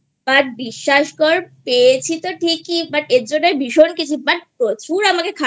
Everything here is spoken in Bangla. but বিশ্বাস কর পেয়েছি তো ঠিকই But এর জন্য ভীষণ গেছি But প্রচুর আমাকে খাটতে